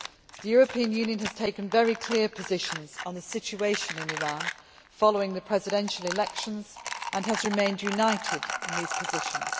The European Union has taken very clear positions on the situation in Iran following the presidential elections and has remained united in these positions.